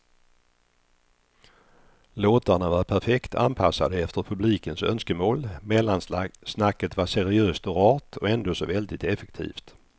Låtarna var perfekt anpassade efter publikens önskemål, mellansnacket var seriöst och rart och ändå så väldigt effektivt.